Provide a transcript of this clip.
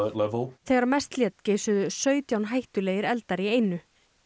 þegar mest lét geisuðu sautján hættulegir eldar í einu